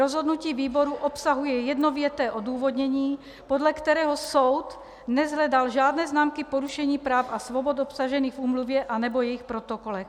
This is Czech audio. Rozhodnutí výboru obsahuje jednověté odůvodnění, podle kterého soud neshledal žádné známky porušení práv a svobod obsažených v úmluvě anebo jejích protokolech.